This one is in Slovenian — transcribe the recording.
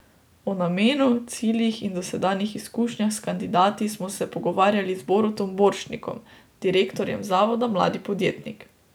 O namenu, ciljih in dosedanjih izkušnjah s kandidati smo se pogovarjali z Borutom Borštnikom, direktorjem Zavoda mladi podjetnik.